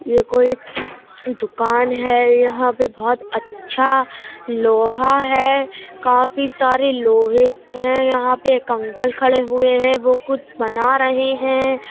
ये कोई दुकान है। यहाँ पर बोहोत अच्छा लोहा है। काफी सारे लोहे हैं। यहाँ पर एक अंकल खड़े हुए है। वो कुछ बना रहे हैं।